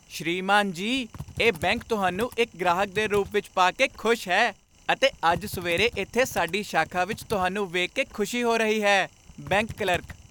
ਸ੍ਰੀਮਾਨ ਜੀ ! ਇਹ ਬੈਂਕ ਤੁਹਾਨੂੰ ਇੱਕ ਗ੍ਰਾਹਕ ਦੇ ਰੂਪ ਵਿੱਚ ਪਾ ਕੇ ਖੁਸ਼ ਹੈ ਅਤੇ ਅੱਜ ਸਵੇਰੇ ਇੱਥੇ ਸਾਡੀ ਸ਼ਾਖਾ ਵਿੱਚ ਤੁਹਾਨੂੰ ਵੇਖ ਕੇ ਖੁਸ਼ੀ ਹੋ ਰਹੀ ਹੈ ਬੈਂਕ ਕਲਰਕ